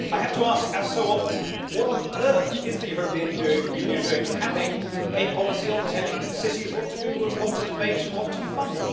But I have to ask, as so often what on earth is the European Union doing having a policy on telling cities what to do and what to debate and what to fund?